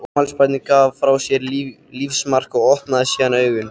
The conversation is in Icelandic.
Afmælisbarnið gaf frá sér lífsmark og opnaði síðan augun.